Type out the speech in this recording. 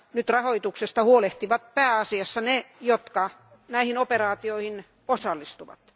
Nyt rahoituksesta huolehtivat pääasiassa ne, jotka näihin operaatioihin osallistuvat.